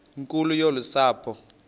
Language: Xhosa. nkulu yolu sapho